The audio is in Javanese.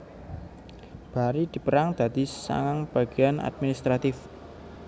Bari dipérang dadi sangang bagéan administratif